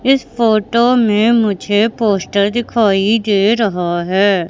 इस फोटो में मुझे पोस्टर दिखाई दे रहा है।